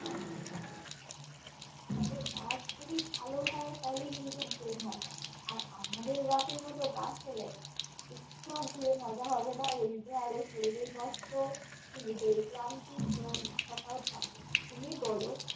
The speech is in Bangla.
তবে bus যদি ভাল হয় তাহলে কিন্তু ঘুরে মজা আর আমাদের bus এর মতো bus হলে একটুও ঘুরে মজা হবে না উল্টে আরও শরীরের কষ্ট নিজেদের ক্লান্তি ঘোরার ইচ্ছাটাও থাকবে না তুমি বলো